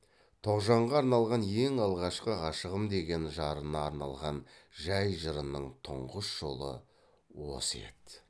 тоғжанға арналған ең алғашқы ғашығым деген жарына арналған жай жырының тұнғыш жолы осы еді